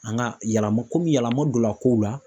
An ka yɛlɛma komi yɛlɛma donna kow la.